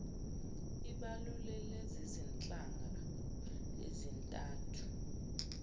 ibalule lezizinhlaka ezinthathu